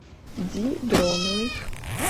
ди дроновой